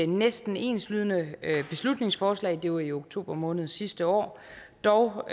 næsten enslydende beslutningsforslag det var i oktober måned sidste år dog